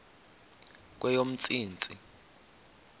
kweyomntsintsi